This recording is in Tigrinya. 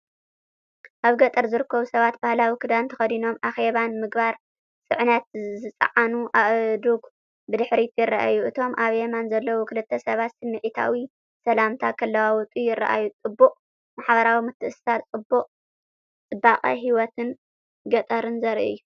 ኣብ ገጠር ዝርከቡ ሰባት ባህላዊ ክዳን ተኸዲኖምን ኣኼባን ምግባር። ጽዕነት ዝጸዓኑ ኣእዱግ ብድሕሪት ይረኣዩ። እቶም ኣብ የማን ዘለዉ ክልተ ሰባት ስምዒታዊ ሰላምታ ክለዋወጡ ይረኣዩ። ጥቡቕ ማሕበራዊ ምትእስሳርን ጽባቐ ህይወት ገጠርን ዘርኢ እዩ።